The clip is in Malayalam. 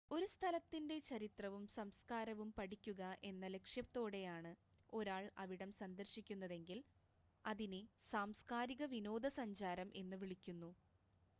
ഒരു സ്ഥലത്തിൻ്റ ചരിത്രവും സംസ്കാരവും പഠിക്കുക എന്ന ലക്ഷ്യത്തോടെയാണ് ഒരാൾ അവിടം സന്ദർശിക്കുന്നതെങ്കിൽ അതിനെ സാംസ്കാരിക വിനോദസഞ്ചാരം എന്ന് വിളിക്കുന്നു